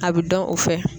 A bɛ dɔn o fɛ